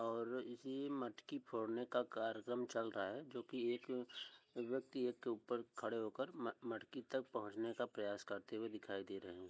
और इसी मटकी फोड़ने का कार्यक्रम चल रहा हैं जोकि एक व्यक्ति एक के ऊपर खड़े होकर म्-मटकी तक पहोंचने का प्रयास तक करते हुए दिखाई दे रहे हैं।